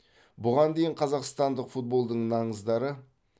бұған дейін қазақстандық футболдың наңыздары